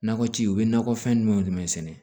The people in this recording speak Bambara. Nakɔ ci u bɛ nakɔfɛn jumɛnw jumɛn sɛnɛ